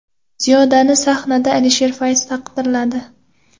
Ziyodani sahnada Alisher Fayz taqdirladi.